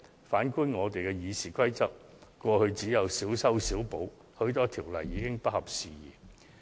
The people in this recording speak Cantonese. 反觀我們的《議事規則》在過去只曾作出小修小補，許多條文已不合時宜。